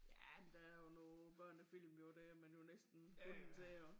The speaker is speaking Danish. Ja der er jo nogen børnefilm jo det man jo næsten bunden til at